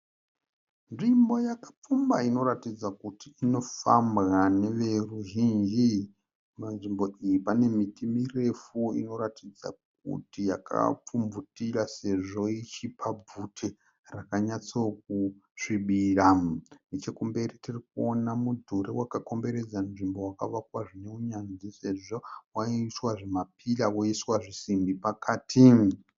Nzvimbo yakapfumba inoratidza kuti inofambwa neveruzhinji. Munzvimbo iyi pane miti mirefu inoratidza kuti yakapfubvutira sezvo ichipa bvute rakanyatsokusvibira. Nechekumberi tiri kuona mudhuri wakakomberedza nzvimbo wakavakwa zvineunyanzvi sezvo waiiswa zvimapira woiswa zvisimbi pakati.